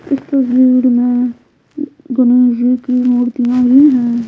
इस तस्वीर में गणेश मूर्तियां भी है।